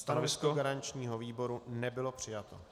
Stanovisko garančního výboru nebylo přijato.